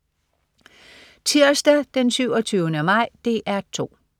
Tirsdag den 27. maj - DR 2: